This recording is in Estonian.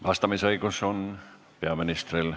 Vastamise õigus on peaministril.